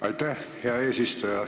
Aitäh, hea eesistuja!